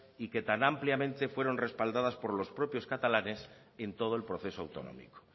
y que tan ampliamente fueron respaldadas por los propios catalanes en todo el proceso autonómico